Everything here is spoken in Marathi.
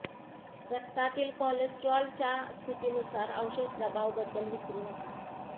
रक्तातील कोलेस्ट्रॉल च्या स्थितीनुसार औषध प्रभाव बद्दल विसरू नका